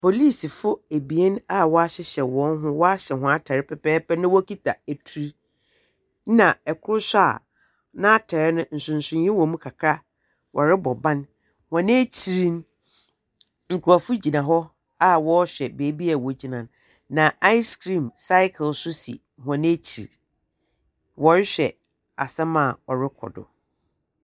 Polisifo ebien a wɔahyehyɛ hɔnhno, wɔahyɛ hɔn atar pɛpɛɛpɛ na wokitsa etur, na kor so a n'atar no nsorsoree wɔ mu kakra wɔrobɔ ban. Hɔn ekyir no, nkorɔko gyina hɔ a wɔrehwɛ beebi wogyina no. Na icecream cycle so si hɔn ekyir. Wɔrohwɛ asɛm a ɔrokɔ do.